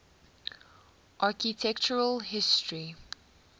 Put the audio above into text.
architectural history